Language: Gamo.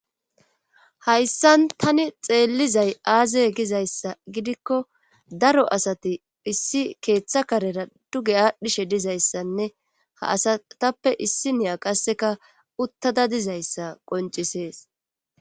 hayssan tani xeellizay aaze gizayssa gidikko daro asati issi keeththa karera duge aadhdhishe dizayssanne ha asatappe issi niya qasseka uttada dizayssa qonc'ises